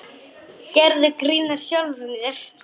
Gerðu grín að sjálfum þér.